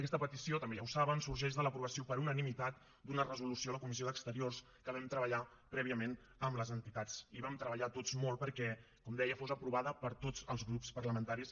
aquesta petició també ja ho saben sorgeix de l’aprovació per unanimitat d’una resolució a la comissió d’exteriors que vam treballar prèviament amb les entitats i vam treballar tots molt perquè com deia fos aprovada per tots els grups parlamentaris